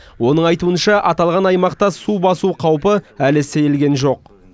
оның айтуынша аталған аймақта су басу қаупі әлі сейілген жоқ